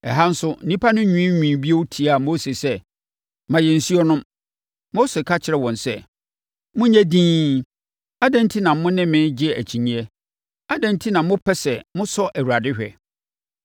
Ɛha nso, nnipa no nwiinwii bio tiaa Mose sɛ, “Ma yɛn nsuo nnom!” Mose ka kyerɛɛ wɔn sɛ, “Monyɛ dinn! Adɛn enti na mo ne me regye akyinnyeɛ? Adɛn enti na mopɛ sɛ mosɔ Awurade hwɛ?”